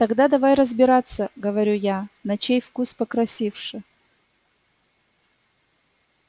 тогда давай разбираться говорю я на чей вкус покрасивше